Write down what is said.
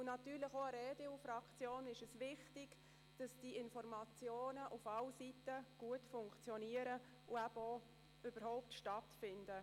Natürlich ist es auch der EDU-Fraktion wichtig, dass Informationen auf alle Seiten gut funktionieren und überhaupt stattfinden.